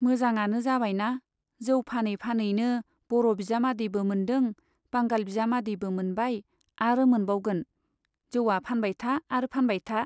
मोजाङानो जाबायना , जौ फानै फानैनो बर' बिजामादैबो मोन्दों , बांगाल बिजामादैबो मोनबाय आरो मोनबावगोन, जौवा फानबाय था आरो फानबाय था।